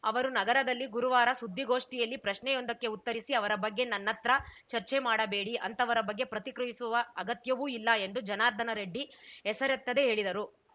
ಅವರು ನಗರದಲ್ಲಿ ಗುರುವಾರ ಸುದ್ದಿಗೋಷ್ಠಿಯಲ್ಲಿ ಪ್ರಶ್ನೆಯೊಂದಕ್ಕೆ ಉತ್ತರಿಸಿ ಅವರ ಬಗ್ಗೆ ನನ್ನತ್ರ ಚರ್ಚೆ ಮಾಡಬೇಡಿ ಅಂಥವರ ಬಗ್ಗೆ ಪ್ರತಿಕ್ರಿಯಿಸುವ ಅಗತ್ಯವೂ ಇಲ್ಲ ಎಂದು ಜನಾರ್ದನ ರೆಡ್ಡಿ ಹೆಸರೆತ್ತದೆ ಹೇಳಿದರು